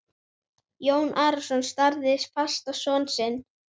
Jón Arason starði fast á son sinn.